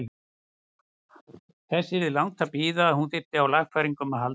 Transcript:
Þess yrði langt að bíða að hún þyrfti á lagfæringum að halda.